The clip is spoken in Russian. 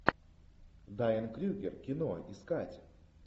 дайан крюгер кино искать